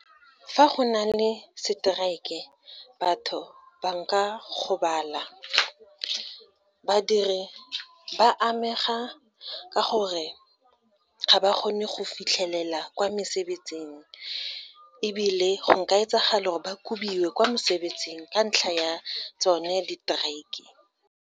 Fa go na le strike-e, batho ba nka gobala. Badiri ba amega ka gore ga ba kgone go fitlhelela kwa mesebetsing ebile go nka etsagala ba kubiwe kwa mesebetsing, ka ntlha ya tsone di-strike-e.